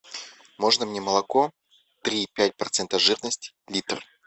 можно мне молоко три и пять процента жирности литр